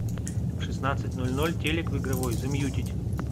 в шестнадцать ноль ноль телек в игровой замьютить